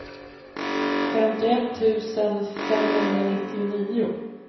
femtioett tusen femhundranittionio